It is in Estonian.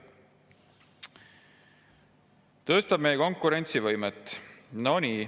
Tõstab meie konkurentsivõimet?!